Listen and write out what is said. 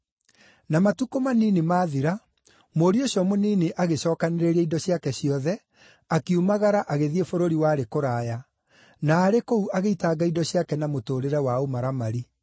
“Na matukũ manini mathira, mũriũ ũcio mũnini agĩcookanĩrĩria indo ciake ciothe, akiumagara agĩthiĩ bũrũri warĩ kũraya, na arĩ kũu agĩitanga indo ciake na mũtũũrĩre wa ũmaramari.